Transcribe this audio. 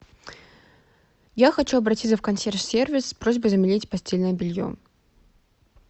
я хочу обратиться в консьерж сервис с просьбой заменить постельное белье